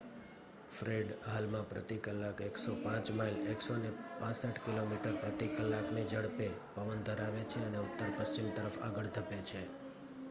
Fred હાલમાં પ્રતિ કલાક 105 માઇલ 165 કિમી/કની ઝડપે પવન ધરાવે છે અને ઉત્તર-પશ્ચિમ તરફ આગળ ધપે છે